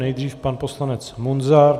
Nejdřív pan poslanec Munzar.